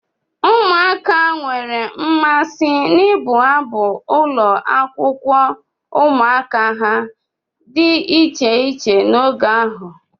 Ụmụaka nwere mmasị n'ịbụ abụ ụlọakwụkwọ ụmụaka ha dị iche iche n'oge ahụ.